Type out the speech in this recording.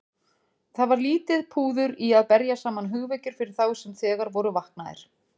Það var lítið púður í að berja saman hugvekjur fyrir þá sem þegar voru vaknaðir.